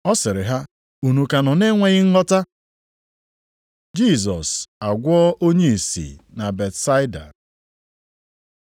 Ọ sịrị ha, “Unu ka nọ na-enweghị nghọta?” Jisọs agwọọ onye ìsì na Betsaida